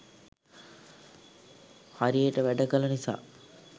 හරියට වැඩ කළ නිසා